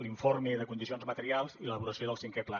l’informe de condicions materials i l’elaboració del cinquè pla